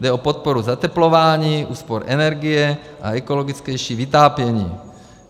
Jde o podporu zateplování, úspor energie a ekologičtější vytápění.